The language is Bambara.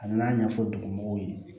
A nana ɲɛfɔ dugumɔgɔw ye